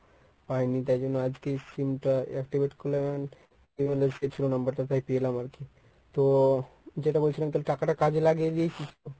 পাই নি তাই জন্য আজকে এই sim টা activate করলাম save ছিল number টা তাই পেলাম আরকি। তো যেটা বলছিলাম তালে টাকাটা কাজে লাগিয়ে দিয়েছিস তো?